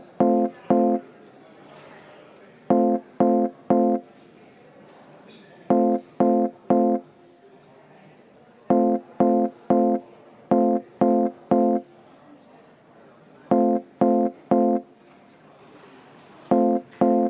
V a h e a e g